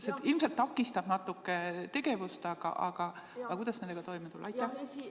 See ilmselt takistab natuke tegevust, aga kuidas nendega toime tulla?